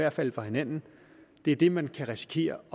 at falde fra hinanden er det man kan risikere